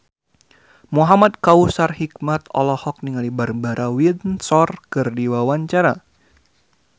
Muhamad Kautsar Hikmat olohok ningali Barbara Windsor keur diwawancara